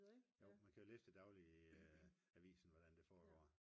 jo man kan jo læse det dagligt i avisen hvordan det foregår